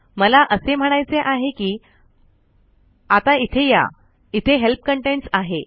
मला असे म्हणायचे आहे कि आत्ता इथे या इथे हेल्प कंटेंट्स आहे